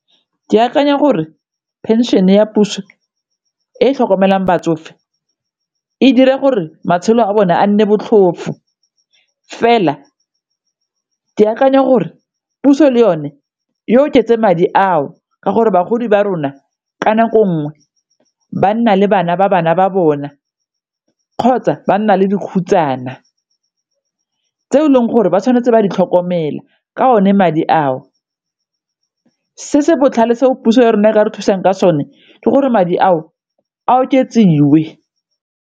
Ke akanya gore phenšene ya puso e tlhokomelang batsofe e dira gore matshelo a bone a nne botlhofo, fela ke akanya gore puso le yone ya oketse madi ao ka gore bagodi ba rona ka nako nngwe ba nna le bana ba bana ba bona kgotsa ba nna le dikhutshwana tse e leng gore ba tshwanetse ba di tlhokomela ka one madi ao. Se se botlhale seo puso ya rona e ka re thusang ka sone di gore madi ao a oketsiwe.